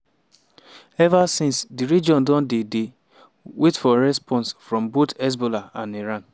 ever since di region don dey dey wait for response from both hezbollah and iran.